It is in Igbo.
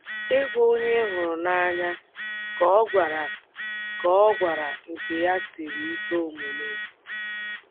Ịgwa onye ị hụrụ n’anya ka ọ gawara ka ọ gawara nke ya siri ike omume.